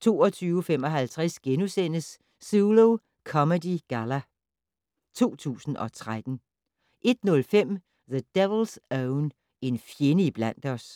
22:55: Zulu Comedy Galla 2013 * 01:05: The Devil's Own - En fjende iblandt os